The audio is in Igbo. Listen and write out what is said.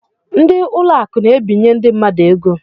Ndị ụlọ akụ na-ebinye ndị mmadụ ego.